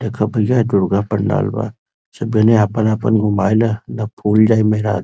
देखा भइया य दुर्गा पंडाल बा। सब जने आपन-आपन घुमाइल ना त फूल जाइ मेहरारू।